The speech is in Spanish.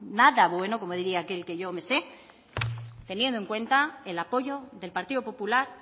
nada bueno como diría aquel que yo me sé teniendo en cuenta el apoyo del partido popular